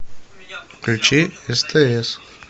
включи стс